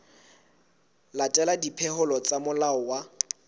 latela dipehelo tsa molao wa